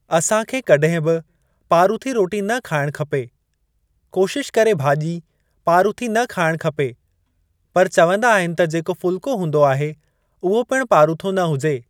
असां खे कॾहिं बि पारूथी रोटी न खाइण खपे। कोशिश करे भाॼी पारूथी न खाइणु खपे पर चवंदा आहिनि त जेको फुल्को हूंदो आहे उहो पिणु पारूथो न हुजे।